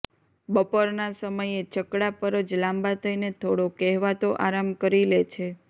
બપોરના સમયે છકડા પર જ લાંબા થઇને થોડો કહેવાતો આરામ કરી લે છે